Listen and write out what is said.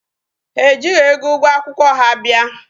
Ha ejighị ego ụgwọ akwụkwọ ha bịa.